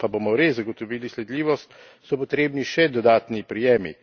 Da pa bomo res zagotovili sledljivost, so potrebni še dodatni prijemi.